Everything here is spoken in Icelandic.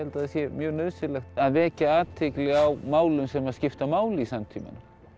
sé mjög nauðsynlegt að vekja athygli á málum sem skipta máli í samtímanum